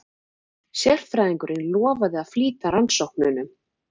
Sérfræðingurinn lofaði að flýta rannsóknunum.